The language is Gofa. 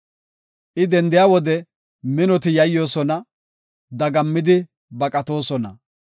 I dendiya wode minoti yayyoosona; dagammidi baqatoosona.